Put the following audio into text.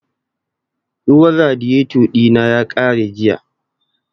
Ruwan radiyeto ɗina ya ƙare jiya